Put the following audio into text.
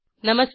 नमस्कार